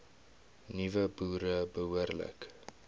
nuwe boere behoorlik